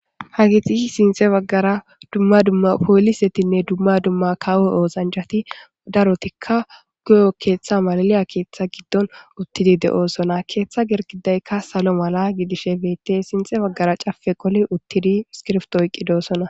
Haageti sintha baggara dumma dumma poolisetinne dumma dumma kawo oosanchati darotikka guye keeththa malaliya keeththa giddon uttidi de'oosona. Keeththa girgidaykka salo mala gidishe beettes. sintha baggara cafe qoli uttidi iskibrto oyqqidosona.